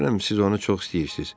Görürəm, siz onu çox istəyirsiz.